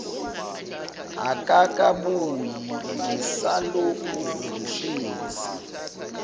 akakabuyi ngisalokhu ngihlezi